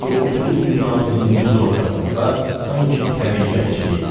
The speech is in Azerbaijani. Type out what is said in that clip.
Gurultulu dünyamızın düz ortasında sanki təriqət kimi idilər.